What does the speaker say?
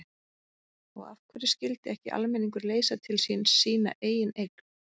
Og af hverju skyldi ekki almenningur leysa til sín sína eigin eign?